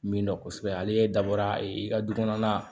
Min dɔ kosɛbɛ ale dabɔra e ka du kɔnɔna